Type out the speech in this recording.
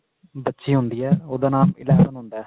ਬੱਚੀ ਹੁੰਦੀ ਹੈ ਉਹਦਾ ਨਾਮ eleven ਹੁੰਦਾ